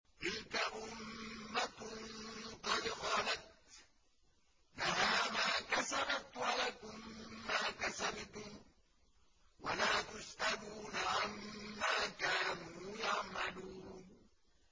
تِلْكَ أُمَّةٌ قَدْ خَلَتْ ۖ لَهَا مَا كَسَبَتْ وَلَكُم مَّا كَسَبْتُمْ ۖ وَلَا تُسْأَلُونَ عَمَّا كَانُوا يَعْمَلُونَ